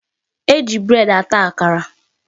E ji bread ata akara.